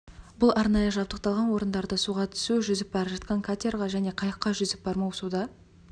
бұл арнайы жабдықталған орындарда суға түсу жүзіп бара жатқан катерға және қайыққа жүзіп бармау суда